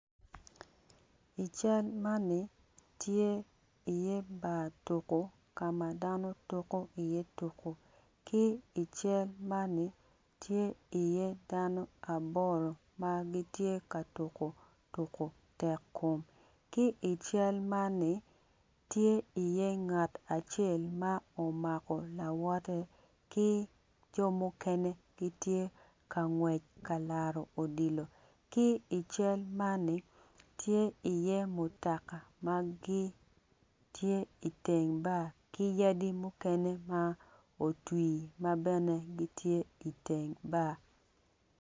I cal man ni tye i ye bar tuko kama dano tuko i ye tuko ki i cal man ni tye i ye dano mapol magi tye ka tuko tuko tek kom ki i cal man ni tye i ye ngat acel ma o mako lawote ki jo mukene gitye ka ngwec ka laro odilo ki i cal man tye i ye mutoka magitye i teng bar ki yadi mukene ma otwir mabene gitye i teng bar.